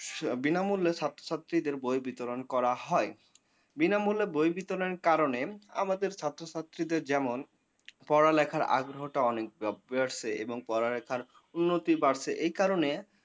বিনামূল্য ছাত্রছাত্রীদের বই বিতরণ করা হয়, বিনামূল্যে বই বিতরনের কারণে আমাদের ছাত্রছাত্রীদের যেমন পড়ালেখার আগ্রহটা অনেক বাড়ছে এবং পড়ালেখার উন্নতি বাড়ছে এই কারণে।